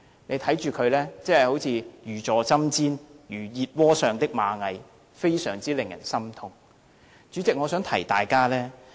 大家看到他真的如坐針氈，有如熱鍋上的螞蟻，令人非常心痛。